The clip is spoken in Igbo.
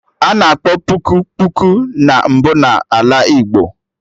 Ana akpọ puku, kpuku na mbụ na Ala Igbo